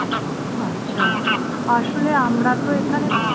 আচ্ছা আসলে আমরা তো এখানে